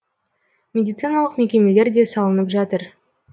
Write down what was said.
медициналық мекемелер де салынып жатыр